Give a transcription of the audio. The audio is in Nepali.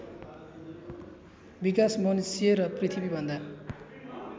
विकास मनुष्य र पृथ्वीभन्दा